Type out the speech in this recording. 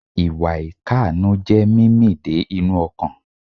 Ìwà ìkànú jé mímì dé inú ọkàn